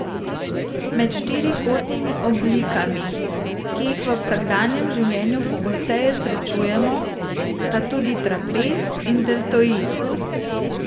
Med štirikotnimi oblikami, ki jih v vsakdanjem življenju pogosteje srečujemo, sta tudi trapez in deltoid.